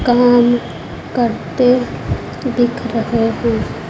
काम करते दिख रहे हो।